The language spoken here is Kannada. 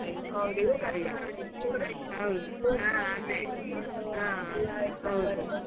ಎಲ್ಲ exam ಬರ್ದು.